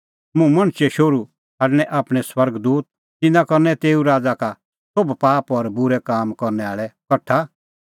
मुंह मणछे शोहरू छ़ाडणैं आपणैं स्वर्ग दूत तिन्नां करनै तेऊए राज़ा का सोभ पाप और बूरै काम करनै आल़ै कठा